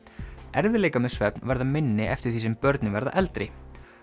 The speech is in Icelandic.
erfiðleikar með svefn verða minni eftir því sem börnin verða eldri